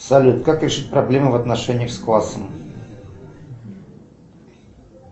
салют как решить проблему в отношениях с классом